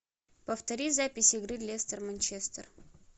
повтори запись игры лестер манчестер